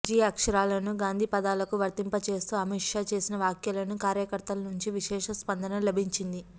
G అక్షరాలను గాంధీ పదాలకు వర్తింపచేస్తూఅమిత్షా చేసిన వ్యాఖ్యలకు కార్యకర్తలనుంచి విశేష స్పందన లభించింది